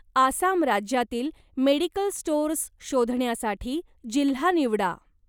आसाम राज्यातील medical stores शोधण्यासाठी जिल्हा निवडा.